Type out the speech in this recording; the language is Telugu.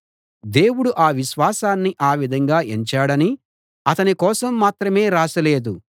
దేవుడు ఆ విశ్వాసాన్ని ఆ విధంగా ఎంచాడని అతని కోసం మాత్రమే రాసి లేదు